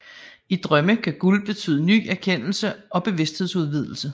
I drømme kan guld betyde ny erkendelse og bevidsthedsudvidelse